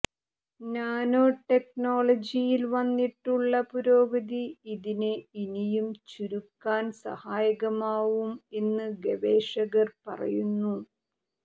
നാനോടെക്നോളജിയിൽ വന്നിട്ടുള്ള പുരോഗതി ഇതിനെ ഇനിയും ചുരുക്കാൻ സഹായകമാവും എന്ന് ഗവേഷകർ പറയുന്നു